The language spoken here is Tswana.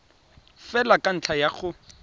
fela ka ntlha ya go